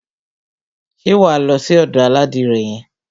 Ṣé wà á lọ sí ọ̀dò aládìrẹ yẹn?